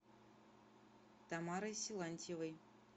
тамарой силантьевой